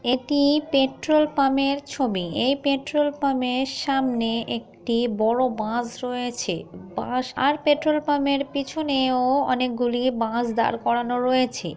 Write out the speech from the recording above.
এটি পেট্রোল পামের এর ছবি এই পেট্রোল পামের এর সামনে একটি বড় বাস রয়েছে বাস আর পেট্রোল পামের এর পিছনেও অনেকগুলি বাস দাড় করানো রয়েছে।